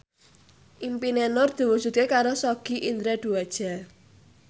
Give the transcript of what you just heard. impine Nur diwujudke karo Sogi Indra Duaja